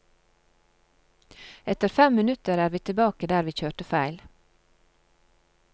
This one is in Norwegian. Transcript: Etter fem minutter er vi tilbake der vi kjørte feil.